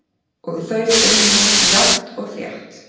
Og þau unnu jafnt og þétt á.